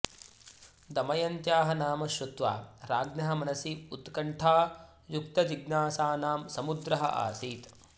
दमयन्त्याः नाम श्रुत्वा राज्ञः मनसि उत्कण्ठायुक्तजिज्ञासानां समुद्रः आसीत्